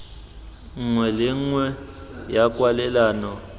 nngwe le nngwe ya kwalelano